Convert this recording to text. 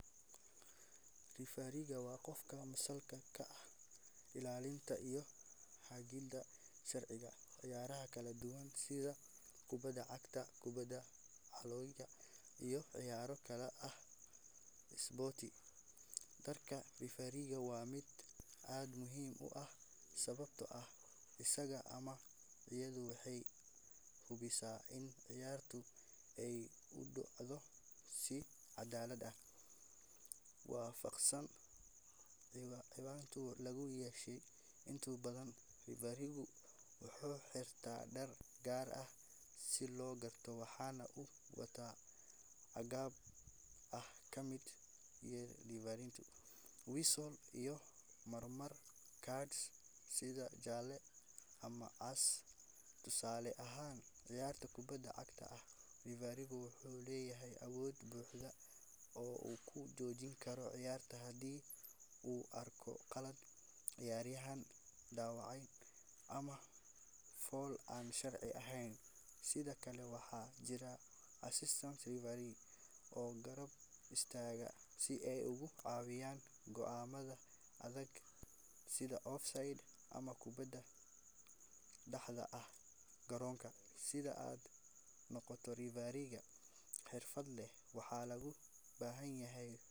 Referee waa qofka masuulka ka ah ilaalinta iyo hagidda sharciyada ciyaaraha kala duwan sida kubadda cagta, kubadda kolayga, iyo ciyaaro kale oo isboorti. Doorka referee waa mid aad muhiim u ah sababtoo ah isaga ama iyadu waxay hubisaa in ciyaarta ay u dhacdo si caddaalad ah oo waafaqsan qawaaniinta lagu heshiiyay. Inta badan, referee wuxuu xirtaa dhar gaar ah si loo garto, waxaana uu wataa agab ay ka mid yihiin seer, whistle, iyo marmar cards sida jaale ama cas. Tusaale ahaan, ciyaar kubad cag ah, referee wuxuu leeyahay awood buuxda oo uu ku joojin karo ciyaarta haddii uu arko khalad, ciyaaryahan dhaawacmay, ama fal aan sharci ahayn. Sidoo kale, waxaa jira assistant referees oo garab istaaga si ay uga caawiyaan go'aamada adag sida offside ama kubad ka baxday xadka garoonka. Si aad u noqoto referee xirfad leh, waxaa lagu baahan yahay tababar rasmi ah, imtixaan la dhigo, iyo khibrad ciyaareed oo la aqoonsan yahay.